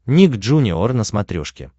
ник джуниор на смотрешке